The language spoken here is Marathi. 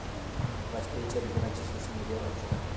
वाजपेयींच्या निधनाची सोशल मीडियावर अफवा